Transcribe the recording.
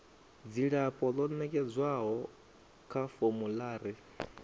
dzilafho ḽo nekedzwaho kha formulary